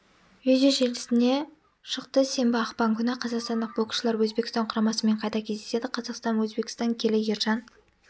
видео желісіне шықты сенбі ақпан күні қазақстандық боксшылар өзбекстан құрамасымен қайта кездеседі қазақстан өзбекстан келі ержан